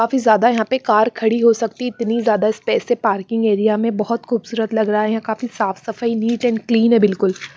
काफी ज्यादा यहाँ पे कार खड़ी हो सकती इतनी ज्यादा स्पेस है पार्किंग एरिया में बहुत खूबसूरत लग रहा है काफी साफ सफाई नीट एंड क्लीन है बिलकुल।